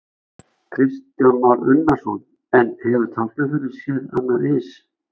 Kristján Már Unnarsson: En hefur Tálknafjörður séð annað eins?